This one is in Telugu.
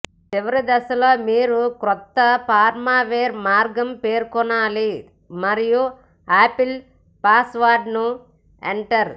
చివరి దశలో మీరు క్రొత్త ఫర్మువేర్ మార్గం పేర్కొనాలి మరియు ఆపిల్ పాస్వర్డ్ను ఎంటర్